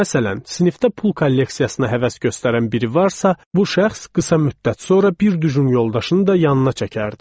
Məsələn, sinifdə pul kolleksiyasına həvəs göstərən biri varsa, bu şəxs qısa müddət sonra bir düjüm yoldaşını da yanına çəkərdi.